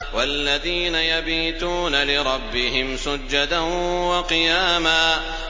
وَالَّذِينَ يَبِيتُونَ لِرَبِّهِمْ سُجَّدًا وَقِيَامًا